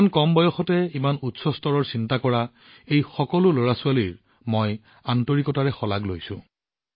ইমান কম বয়সতে ডাঙৰ চিন্তা কৰা এই সকলো লৰাছোৱালীক মই আন্তৰিকতাৰে শলাগ লৈছো